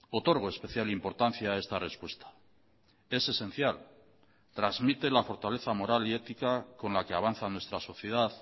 otorgo especial importancia a esta respuesta es esencial transmite la fortaleza moral y ética con la que avanza nuestra sociedad